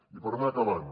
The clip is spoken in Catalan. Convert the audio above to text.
i per anar acabant